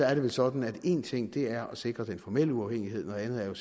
er det vel sådan at en ting er at sikre den formelle uafhængighed noget andet er jo